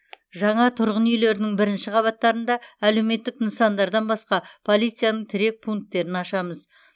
жаңа тұрғын үилердің бірінші қабаттарында әлеуметтік нысандардан басқа полицияның тірек пунктерін ашамыз